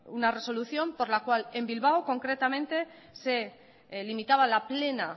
una resolución por la cual en bilbao concretamente se limitaba la plena